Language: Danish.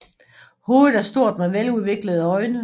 Hovedet er stort med veludviklede øjne